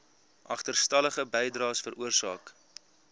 agterstallige bydraes veroorsaak